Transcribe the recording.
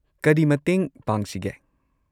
ꯀꯔꯤ ꯃꯇꯦꯡ ꯄꯥꯡꯁꯤꯒꯦ?